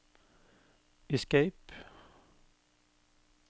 escape